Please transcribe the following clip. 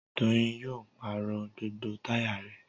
Doyin yóò pàrọ̀ gbogbo táyà rẹ̀